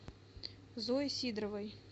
зое сидоровой